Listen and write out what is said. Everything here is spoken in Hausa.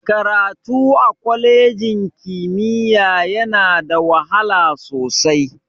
Karatu a kwalejin ƙimiya yana da wahala sosai.